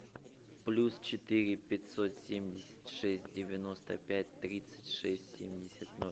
плюс четыре пятьсот семьдесят шесть девяносто пять тридцать шесть семьдесят ноль